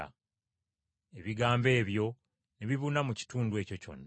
Ebigambo ebyo ne bibuna mu kitundu ekyo kyonna.